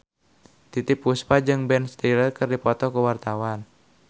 Titiek Puspa jeung Ben Stiller keur dipoto ku wartawan